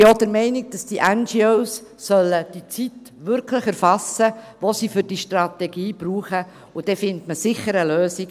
Ich bin auch der Meinung, dass die NGOs die Zeit wirklich erfassen sollen, die sie für die Strategie brauchen, und dann findet man sicher eine Lösung.